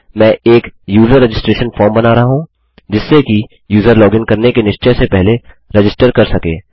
मैं एक user registration form बना रहा हूँ जिससे कि यूज़र लॉगिन करने के निश्चय से पहले रजिस्टर कर सके